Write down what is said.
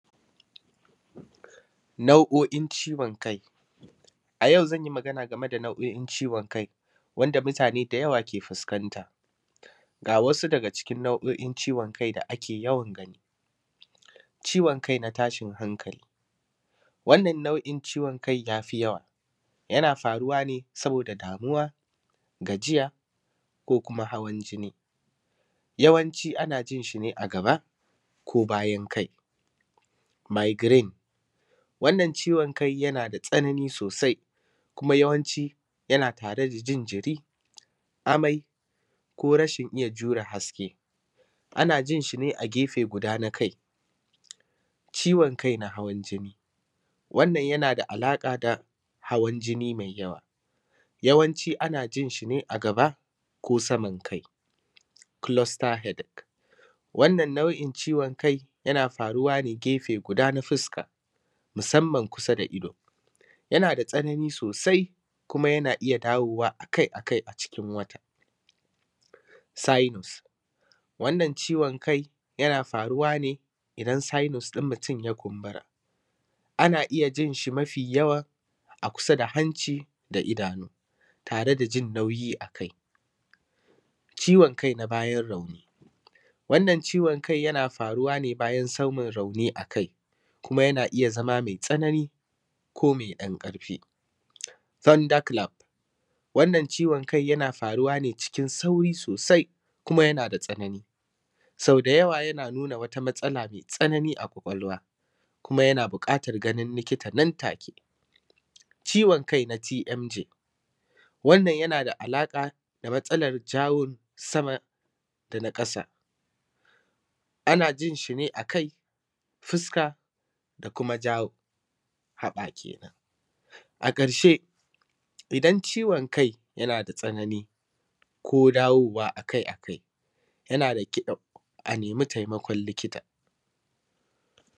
nau’o’in ciwon kai a yau zan yi magana game da nau’o’in ciwon kai wanda mutane da dama suke fuskanta ga wasu daga cikin nau’o’in ciwon kai da ake yawan gani ciwon kai na tashin hankali wannan nauˀin ciwon kai ya fi yawa yana faruwa ne saboda damuwa gajiya ko kuma hawan jini yawanci ana yin shi ne a gaba ko bayan kai migrain wannan ciwon kai yana da tsanani sosai kuma yawanci yana tare da jin jiri amai ko rashin iya jure haske ana yin shi ne a gefen guda na kai ciwon kai na hawan jini wannan yana da alaƙa da hawan jini mai yawa yawanci ana yin shi ne a gaba ko saman kai cluster headache wannan nau’in ciwon kai yana faruwa ne gefe guda na fuska musamman kusa da ido yana da tsanani sosai kuma yana iya dawowa a kai a kai a cikin wata sinus wannan ciwon kai yana faruwa ne idan sinus ɗin mutum ya kumbura ana yin shi mafi yawa a kusa da hanci da idanu tare da jin nauyi a kai ciwon kai na bayan rauni wannan ciwon kai yana faruwa ne bayan samun rauni a kai kuma yana iya zama mai tsanani ko mai ɗan ƙarfi thunderclap wannan ciwon kai yana faruwa ne cikin sauri sosai kuma yana da tsanani sau da yawa yana nuna wata matsala mai tsanani a ƙwaƙwalwa kuma yana: buƙatar ganin likita nan take ciwon kai na tmg wannan yana da alaƙa da matsalar jaw na sama da na ƙasa ana yin shi ne a kai fuska da kuma jaw haɓa kenan a ƙarshe idan ciwon kai yana da tsanani ko dawowa a kai a kai yana da kyau a nemi taimakon likita